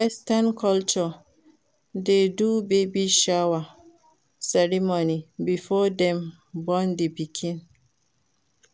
Western culture dey do baby shower ceremony before dem born di pikin